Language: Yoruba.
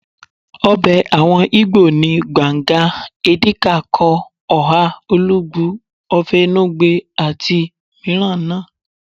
Ọbẹ̀ àwọn igbó ni, banga, edi kai Kong, oha, olugbu, ofe enugbe àti àwọn mìíràn náà